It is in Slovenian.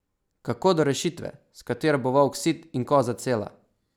Kako do rešitve, s katero bo volk sit in koza cela?